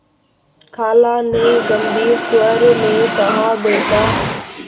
खाला ने गम्भीर स्वर में कहाबेटा